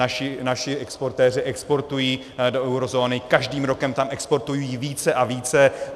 Naši exportéři exportují do eurozóny, každým rokem tam exportují více a více.